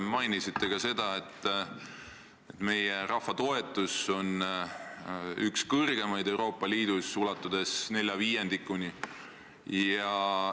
Mainisite ka seda, et meie rahva toetus Euroopa Liidule on üks kõrgemaid Euroopa Liidus, ulatudes nelja viiendikuni.